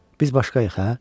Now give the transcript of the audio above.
Biz başqayıq, hə?